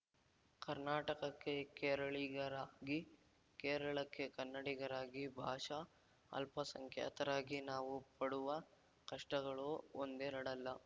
ಕರ್ನಾಟಕಕ್ಕೆ ಕೇರಳಿಗರಾಗಿ ಕೇರಳಕ್ಕೆ ಕನ್ನಡಿಗರಾಗಿ ಭಾಷಾ ಅಲ್ಪಸಂಖ್ಯಾತರಾಗಿ ನಾವು ಪಡುವ ಕಷ್ಟಗಳು ಒಂದೆರಡಲ್ಲ